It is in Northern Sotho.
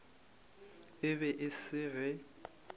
e be e se ge